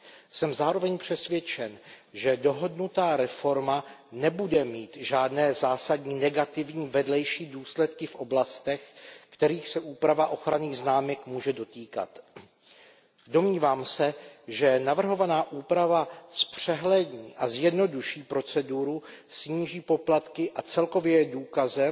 Jsem zároveň přesvědčen, že dohodnutá reforma nebude mít žádné zásadní negativní vedlejší důsledky v oblastech, kterých se úprava ochranných známek může dotýkat. Domnívám se, že navrhovaná úprava zpřehlední a zjednoduší proceduru, sníží poplatky a celkově je důkazem,